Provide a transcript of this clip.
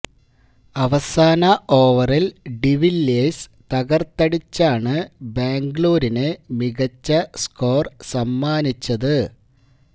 അവസാന ഓവറില് ഡിവില്ലിയേഴ്സ് തകര്ത്തടിച്ചാണ് ബാംഗ്ലൂരിന് മികച്ച സ്കോര് സമ്മാനിച്ചത്